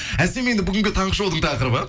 әсем енді бүгін таңғы шоудың тақырыбы